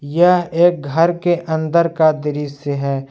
यह एक घर के अंदर का दृश्य है।